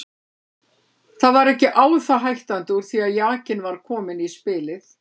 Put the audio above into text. Það var ekki á það hættandi úr því að jakinn var kominn í spilið.